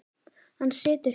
Hann situr hjá